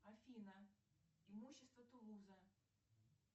афина имущество тулуза